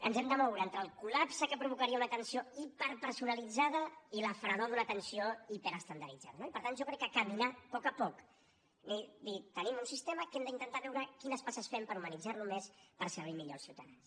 ens hem de moure entre el col·lapse que provocaria una atenció hiperpersonalitzada i la fredor d’una atenció hiperestandarditzada no i per tant jo crec que caminar a poc a poc dir tenim un sistema que hem d’intentar veure quines passes fem per humanitzar lo més per servir millor als ciutadans